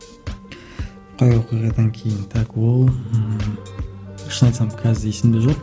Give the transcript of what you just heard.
қай оқиғадан кейін так ол ыыы шын айтсам қазір есімде жоқ